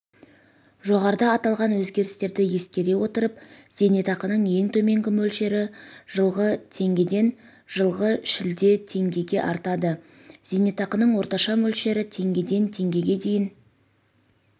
жоғарыда аталған өзгерістерді ескере отырып зейнетақының ең төменгі мөлшері жылғы теңгеден жылғы шілдеде теңгеге артады зейнетақының орташа мөлшері теңгеден теңгеге дейін